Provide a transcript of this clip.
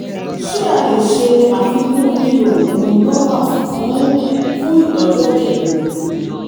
ṣé a lè ṣe àfikún lílo oògùn norvasc fún fún ìtọ́jú ẹ̀jẹ̀ ríru?